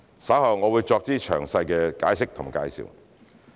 稍後我會再作詳細解釋及介紹。